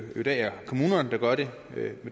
i dag er kommunerne der gør det